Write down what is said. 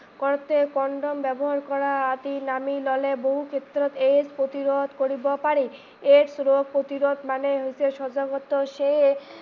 কৰোতে condom ব্যৱহাৰ কৰা বহু ক্ষেত্ৰত AIDS প্ৰতিৰোধ কৰিব পাৰি। AIDS ৰোগ প্ৰতিৰোধ মানেই হৈছে সজাগত